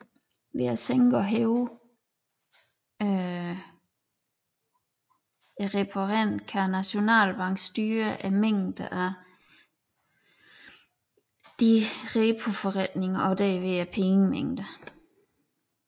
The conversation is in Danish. Ved at sænke og hæve reporenten kan Nationalbanken styre mængden af disse repoforretninger og derved pengemængden